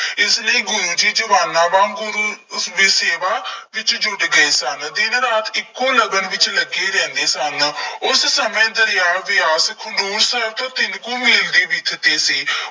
ਇਸ ਲਈ ਗੁਰੂ ਜੀ ਜਵਾਨਾਂ ਵਾਂਗ ਗੁਰੂ ਉਸਦੀ ਸੇਵਾ ਵਿੱਚ ਜੁੱਟ ਗਏ ਸਨ। ਦਿਨ ਰਾਤ ਇੱਕੋ ਲਗਨ ਵਿੱਚ ਲੱਗੇ ਰਹਿੰਦੇ ਸਨ। ਉਸ ਸਮੇਂ ਦਰਿਆ ਬਿਆਸ ਖਡੂਰ ਸਾਹਿਬ ਤੋਂ ਤਿੰਨ ਕੁ ਮੀਲ ਦੀ ਵਿੱਥ ਤੇ ਸੀ।